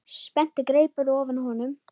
Spennti greipar ofan á honum.